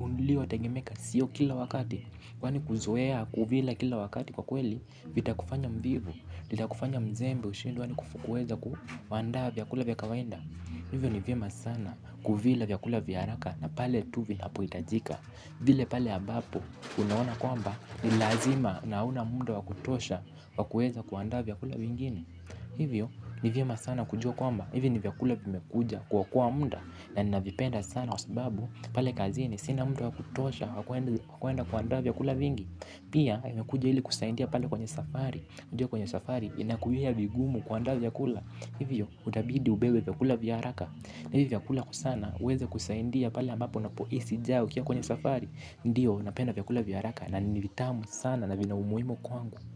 uliotengemeka sio kila wakati, kwani kuzoea kuvila kila wakati kwakweli. Vitakufanya mvivu, vitakufanya mzembe ushindwe hadi kuweza kuandaa vyakula vya kawaida hivyo ni vema sana kuvila vyakula vya haraka na pale tu vinapohitajika vile pale ambapo unaona kwamba ni lazima na huna mda wa kutosha kwa kuweza kuandaa vyakula vingine hivyo ni vyema sana kujua kwamba hivi ni vyakula vimekuja kuokoa mda na ninavipenda sana sana kwasababu pale kazini sina muda wa kutosha wa kwenda kwenda kuandaa vyakula vingi pia imekuja ili kusaidia pale kwenye safari. Ndio kwenye safari inakuwia vigumu kuandaa vyakula, hivyo utabidi ubebe vyakula vya haraka na hivi vyakula kwa sana huweza kusaidia pale ambapo unapohisi njaa ukiwa kwenye safari ndio napenda vyakula vyaraka na ni vitamu sana na vina umuhimu kwangu.